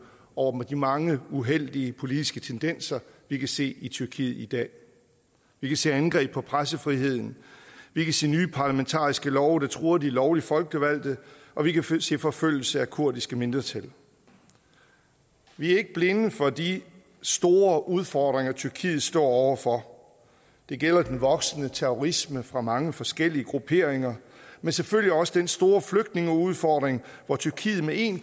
over de mange uheldige politiske tendenser vi kan se i tyrkiet i dag vi kan se angreb på pressefriheden vi kan se nye parlamentariske love der truer de lovligt folkevalgte og vi kan se forfølgelse af det kurdiske mindretal vi er ikke blinde for de store udfordringer tyrkiet står over for det gælder den voksende terrorisme fra mange forskellige grupperinger men selvfølgelig også den store flygtningeudfordring hvor tyrkiet med en